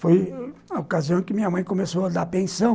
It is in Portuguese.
Foi na ocasião em que minha mãe começou a dar pensão.